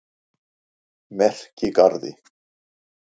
Merkigarði